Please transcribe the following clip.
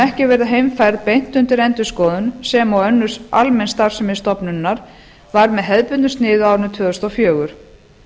ekki verða heimfærð beint undir endurskoðun sem og önnur almenn starfsemi stofnunarinnar var með hefðbundnu sniði á árinu tvö þúsund og fjögur